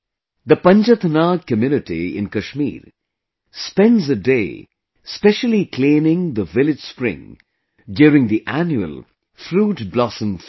The Panjath Nag community in Kashmir spends a day specially cleaning the village spring during the Annual Fruit Blossom festival